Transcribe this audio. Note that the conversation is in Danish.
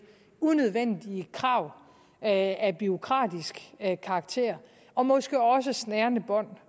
unødvendige krav af bureaukratisk karakter og måske også snærende bånd